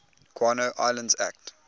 guano islands act